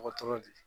Dɔgɔtɔrɔ de ye